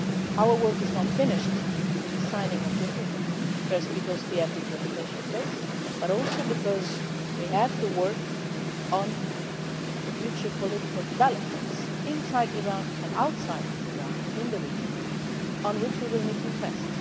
Our work has not finished with the signing of the agreement. First, because we have the implementation phase, but also because we have to work on future political developments inside Iran and outside Iran in the region in which we will need to invest.